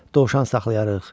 Dovşan saxlayarıq.